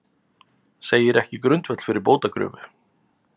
Segir ekki grundvöll fyrir bótakröfu